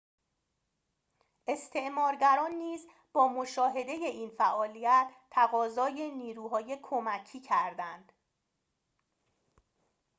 استعمارگران نیز با مشاهده این فعالیت تقاضای نیروهای کمکی کردند